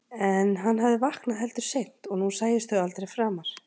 En hann hafði vaknað heldur seint og nú sæjust þau aldrei framar.